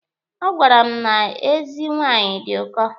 Ọ gwara m na ezi nwaanyị dị ụkọ.